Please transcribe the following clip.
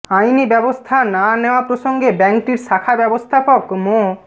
আইনি ব্যবস্থা না নেয়া প্রসঙ্গে ব্যাংকটির শাখা ব্যবস্থাপক মো